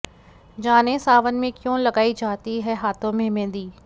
जानें सावन में क्यों लगाई जाती है हाथों में मेहंदी